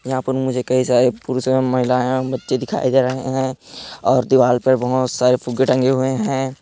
यहाँ पर मुझे कई सारे पुरुष एवं महिलाएँ एवं बच्चे दिखाई दे रहे हैं और दिवार पे सारे फुग्गे टंगे हुए हैं।